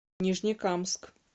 нижнекамск